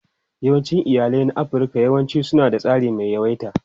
Yawancin iyalai na Afirka yawanci suna da tsari mai tsawaita.